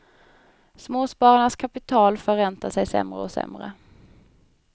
Småspararnas kapital förräntar sig sämre och sämre.